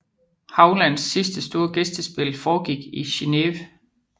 Hauglands sidste store gæstespil foregik i Geneve